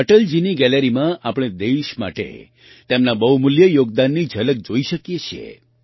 અટલજીની ગેલેરીમાં આપણે દેશ માટે તેમના બહુમૂલ્ય યોગદાનની ઝલક જોઈ શકીએ છીએ